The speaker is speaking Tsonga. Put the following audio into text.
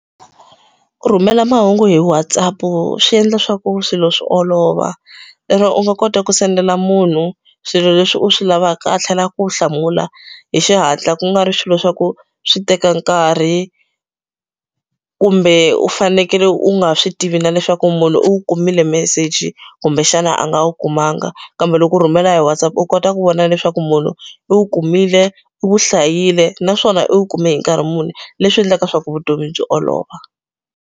Ku rhumela mahungu hi Whatsapp swi endla swa ku swilo swi olova lero u nga kota ku sendela munhu swilo leswi u swi lavaka tlhela ku hlamula hi xihatla ku nga ri swilo swa ku swi teka nkarhi kumbe u fanekele u nga swi tivi na leswaku munhu u wu kumile meseji kumbexana a nga wu kumanga kambe loko rhumela hi Whatsapp u kota ku vona leswaku munhu i wu kumile u hlayile naswona u kume hi nkarhi muni leswi endlaka leswaku vutomi byi olova.